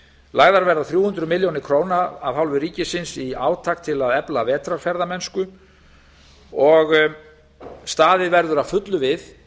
lagðar verða þrjú hundruð milljóna króna af hálfu ríkisins í átak til að efla vetrarferðamennsku og staðið verður að fullu við